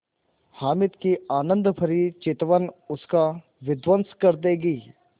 हामिद की आनंदभरी चितवन उसका विध्वंस कर देगी